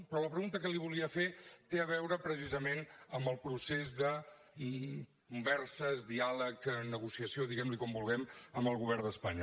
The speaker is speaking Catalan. però la pregunta que li volia fer té a veure precisament amb el procés de converses diàleg negociació diguem li com vulguem amb el govern d’espanya